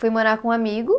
Fui morar com um amigo.